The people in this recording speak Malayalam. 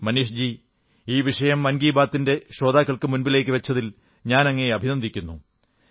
മനീഷ് ജീ ഈ വിഷയം മൻ കീ ബാത്തിന്റെ ശ്രോതാക്കൾക്കു മുന്നിലേക്കു വച്ചതിൽ ഞാൻ അങ്ങയെ അഭിനന്ദിക്കുന്നു